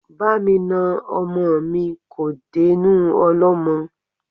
Bá mi na ọmọ mi kò dénú ọlọ́mọ́.